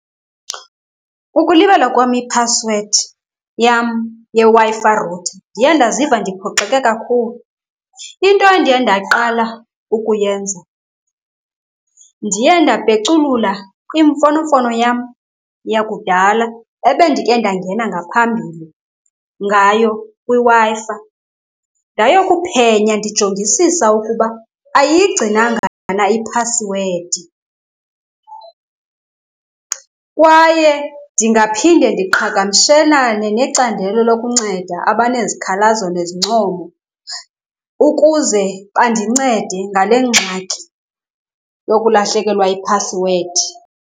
Ukulibala kwam iphasiwedi yam yeWi-Fi router, ndiye ndaziva ndiphoxeke kakhulu. Into endiye ndaqala ukuyenza ndiye ndapeculula imfonomfono yam yakudala ebendike ndangena ngaphambili ngayo kwiWi-Fi, ndayokuphenya ndijongisisa ukuba ayiyigcinanga na iphasiwedi. Kwaye ndingaphinda ndiqhagamshelane necandelo lokunceda abanezikhalazo nezincomo ukuze bandincede ngale ngxaki yokulahlekelwa yiphasiwedi.